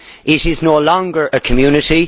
it is no longer a community.